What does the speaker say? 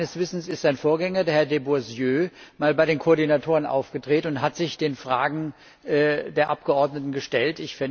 Meines Wissens ist sein Vorgänger, Herr de Boissieu, einmal bei den Koordinatoren aufgetreten und hat sich den Fragen der Abgeordneten gestellt.